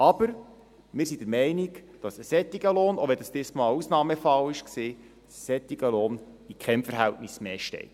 Aber wir sind der Meinung, dass ein solcher Lohn, auch wenn es dieses Mal eine Ausnahme war, dass ein solcher Lohn in keinem Verhältnis mehr steht.